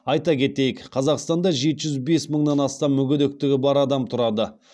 айта кетейік қазақстанда жеті жүз бес мыңнан астам мүгедектігі бар адам тұрады